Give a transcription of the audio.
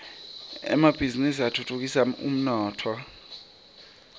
emabhizini atfutfukisa umnotfo